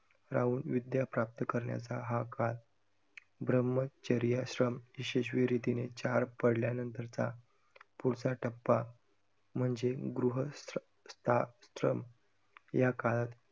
राहून विदया प्राप्त करण्याचा हा काळ. ब्रह्मचर्याश्रम यशस्वी रीतीने पार पाडल्यानंतरचा पुढचा टप्पा म्हणजे गृह~ स्था~ श्रम, याकाळात